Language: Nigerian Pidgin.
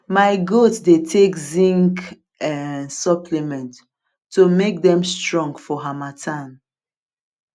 my goat dey take zinc um supplement to make dem strong for harmattan